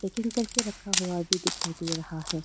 Packing करके रखा हुआ भी दिखाई दे रहा है।